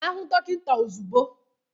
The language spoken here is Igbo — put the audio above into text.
Gaa hụ dọkịta ozugbo!